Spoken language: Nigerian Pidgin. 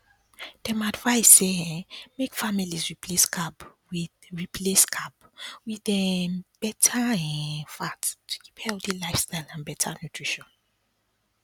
dem advise say um make families replace carb with replace carb with um better um fat to keep healthy lifestyle and better nutrition